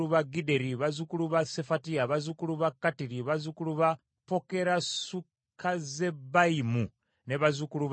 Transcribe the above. bazzukulu ba Sefatiya, bazzukulu ba Kattiri, bazzukulu ba Pokeresukazzebayimu, ne bazzukulu ba Ami.